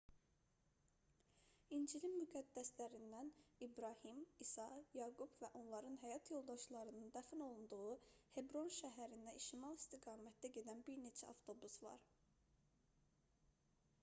i̇ncilin müqəddəslərindən i̇brahim i̇sa yaqub və onların həyat yoldaşlarının dəfn olunduğu hebron şəhərinə şimal istiqamətdə gedən bir neçə avtobus var